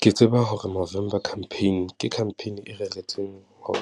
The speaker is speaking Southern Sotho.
Ke tseba hore November campaign ke campaign e reretsweng ho